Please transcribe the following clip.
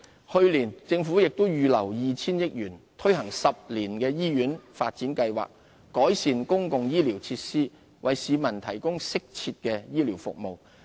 去年，政府也預留了 2,000 億元推行10年醫院發展計劃，改善公共醫療設施，為市民提供適切的醫療服務。